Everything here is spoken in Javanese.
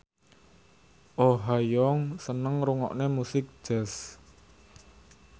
Oh Ha Young seneng ngrungokne musik jazz